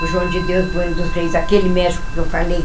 O João de Deus Bueno dos Reis, aquele médico que eu falei.